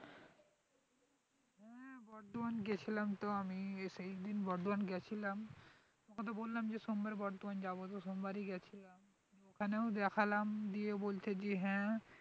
বর্ধমান গেছিলাম তো আমি সেইদিন বর্ধমান গেছিলাম তোমাকে তো বললাম যে সোমবারে বর্ধমান যাবো তো সোমবারই গেছিলাম ওখানেও দেখালাম দিয়ে বলছে যে হ্যাঁ